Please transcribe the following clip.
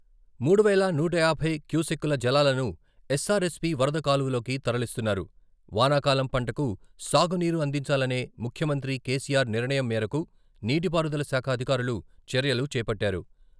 మూడు వేల నూట యాభై క్యూసెక్కుల జలాలను ఎస్సారెస్పీ వరద కాలువలోకి తరలిస్తున్నారు.వానాకాలం పంటకు సాగునీరు అందించాలనే ముఖ్యమంత్రి కేసీఆర్ నిర్ణయం మేరకు నీటి పారుదల శాఖ అధికారులు చర్యలు చేపట్టారు.